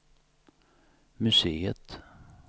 museet